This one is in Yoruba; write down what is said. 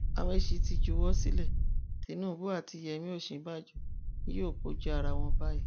amaechi ti juwọ sílẹ tìnùbù àti yèmí ọsínbàjò ni yóò kojú ara wọn báyìí